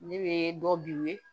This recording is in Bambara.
Ne bɛ dɔ bi ye